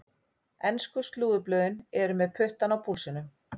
Ensku slúðurblöðin eru með puttann á púlsinum.